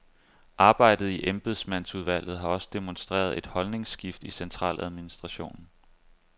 Arbejdet i embedsmandsudvalget har også demonstreret et holdningsskift i centraladministrationen.